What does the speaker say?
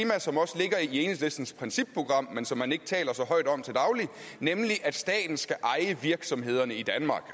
enhedslistens principprogram men som man ikke taler så højt om til dagligt nemlig at staten skal eje virksomhederne i danmark